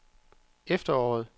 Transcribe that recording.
efteråret